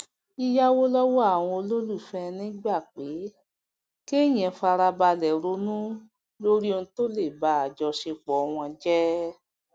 yíyáwó lówó àwọn olólùfẹ ẹni gba pé kéèyàn farabalè ronú lórí ohun tó lè ba àjọṣepọ wọn jẹ